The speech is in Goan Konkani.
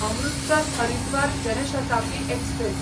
अमृतसर हरिद्वार जन शताब्दी एक्सप्रॅस